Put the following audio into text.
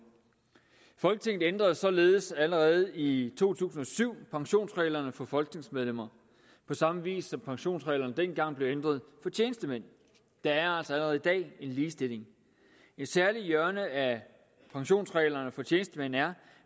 folketinget ændrede således allerede i to tusind og syv pensionsreglerne for folketingsmedlemmer på samme vis som pensionsreglerne dengang blev ændret for tjenestemænd der er altså allerede i dag en ligestilling et særligt hjørne af pensionsreglerne for tjenestemænd er